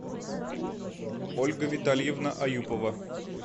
ольга витальевна аюпова